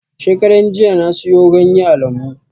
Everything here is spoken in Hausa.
Shekaran jiya na siyo ganye a lambu